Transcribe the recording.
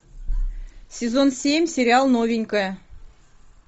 сезон семь сериал новенькая